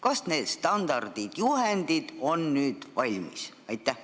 Kas need standardid ja juhendid on nüüd valmis?